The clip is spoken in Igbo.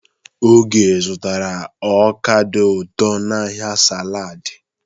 Oge zụtara ọka dị ụtọ n'ahịa saladị.